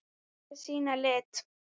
Að sýna lit.